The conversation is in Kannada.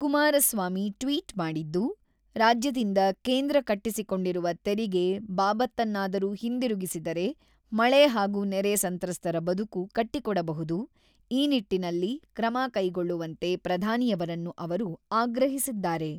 ಕುಮಾರಸ್ವಾಮಿ ಟ್ವಿಟ್ ಮಾಡಿದ್ದು, ರಾಜ್ಯದಿಂದ ಕೇಂದ್ರ ಕಟ್ಟಿಸಿಕೊಂಡಿರುವ ತೆರಿಗೆ ಬಾಬತ್ತನ್ನಾದರೂ ಹಿಂದಿರುಗಿಸಿದರೆ, ಮಳೆ ಹಾಗೂ ನೆರೆ ಸಂತ್ರಸ್ತರ ಬದುಕು ಕಟ್ಟಿಕೊಡಬಹುದು ; ಈ ನಿಟ್ಟಿನಲ್ಲಿ ಕ್ರಮ ಕೈಗೊಳ್ಳುವಂತೆ ಪ್ರಧಾನಿಯವರನ್ನು ಅವರು ಆಗ್ರಹಿಸಿದ್ದಾರೆ.